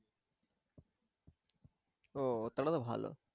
ও তাহলে তো ভালো।